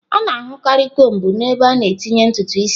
A na-ahụkarị kombu n'ebe a na-etinye ntutu isi.